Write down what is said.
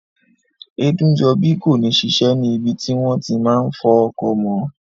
Ẹdúnjọbí kò ní ṣiṣẹ́ ní ibi tí wọ́n ti máa n fọ ọkọ̀ mọ́